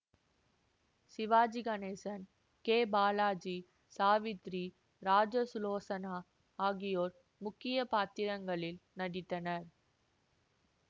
Sivaji Ganesan K Balaji Savitri Rajasulochana ஆகியோர் முக்கிய பாத்திரங்களில் நடித்தனர்